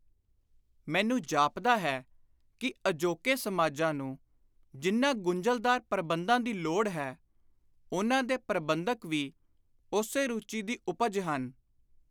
ਮੈਨੂੰ ਜਾਪਦਾ ਹੈ ਕਿ ਅਜੋਕੇ ਸਮਾਜਾਂ ਨੂੰ ਜਿਨ੍ਹਾਂ ਗੁੰਝਲਦਾਰ ਪ੍ਰਬੰਧਾਂ ਦੀ ਲੋੜ ਹੈ, ਉਨ੍ਹਾਂ ਦੇ ਪ੍ਰਬੰਧਕ ਵੀ ਉਸੇ ਰੁਚੀ ਦੀ ਉਪਜ ਹਨ।